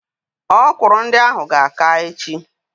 Ọkwụrụ ndị ahụ ga-aka echi.